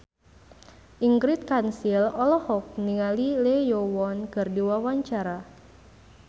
Ingrid Kansil olohok ningali Lee Yo Won keur diwawancara